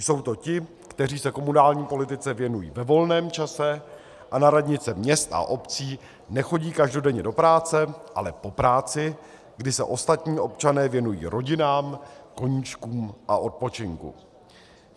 Jsou to ti, kteří se komunální politice věnují ve volném čase a na radnice měst a obcí nechodí každodenně do práce, ale po práci, kdy se ostatní občané věnují rodinám, koníčkům a odpočinku.